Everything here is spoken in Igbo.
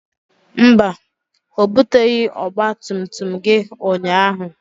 Mba, o buteghị ọgba tum tum gị ụnyaahụ